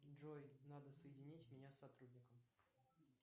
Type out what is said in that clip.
джой надо соединить меня с сотрудником